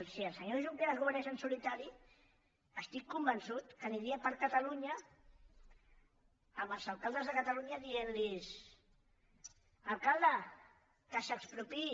si el senyor junqueras governés en solitari estic convençut que aniria per catalunya als alcaldes de catalunya dient los alcalde que s’expropiï